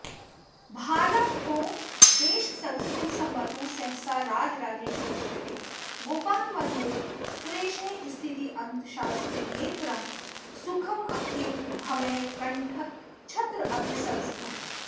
भालाधोदेशसंस्थं समवतु सहसा राजराजेश्वरेशः गोपान्वन्वो सुरेशः स्थित्यन्तशास्त्रनेत्रं सुखमखिलभवः कण्ठच्छत्राभिसंस्थम्